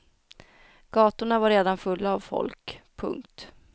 Gatorna var redan fulla av folk. punkt